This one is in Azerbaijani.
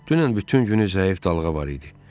Dünən bütün günü zəif dalğa var idi.